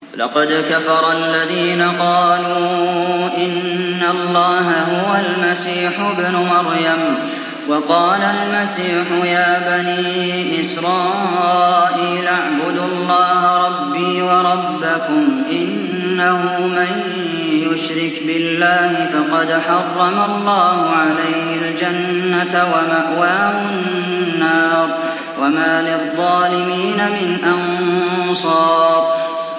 لَقَدْ كَفَرَ الَّذِينَ قَالُوا إِنَّ اللَّهَ هُوَ الْمَسِيحُ ابْنُ مَرْيَمَ ۖ وَقَالَ الْمَسِيحُ يَا بَنِي إِسْرَائِيلَ اعْبُدُوا اللَّهَ رَبِّي وَرَبَّكُمْ ۖ إِنَّهُ مَن يُشْرِكْ بِاللَّهِ فَقَدْ حَرَّمَ اللَّهُ عَلَيْهِ الْجَنَّةَ وَمَأْوَاهُ النَّارُ ۖ وَمَا لِلظَّالِمِينَ مِنْ أَنصَارٍ